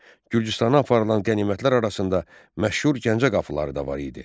Gürcüstana aparılan qənimətlər arasında məşhur Gəncə qapıları da var idi.